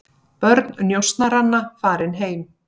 Börn njósnaranna farin heim